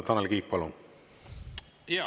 Tanel Kiik, palun!